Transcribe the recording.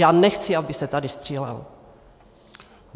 Já nechci, aby se tady střílelo.